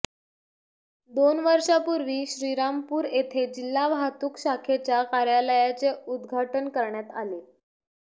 दोन वर्षांपूर्वी श्रीरामपूर येथे जिल्हा वाहतूक शाखेच्या कार्यालयाचे उद्घाटन करण्यात आले